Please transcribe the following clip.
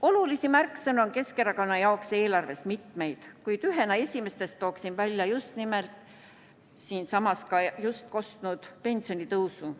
Olulisi märksõnu on Keskerakonna jaoks eelarves mitmeid, kuid ühena esimestest tooksin välja just nimelt siinsamas kostnud pensionitõusu.